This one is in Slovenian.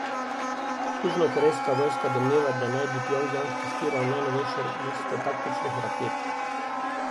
Južnokorejska vojska domneva, da naj bi Pjongjang testiral najnovejšo vrsto taktičnih raket.